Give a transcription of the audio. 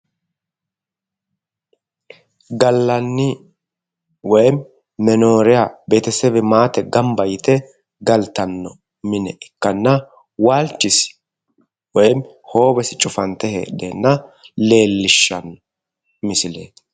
Gallanni woy menoriya betisebi maate gamba yite galtannoha ikkanna waalchisi woy hoowesi cufante heedheenna leellishshanno misileeti